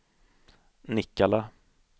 Nikkala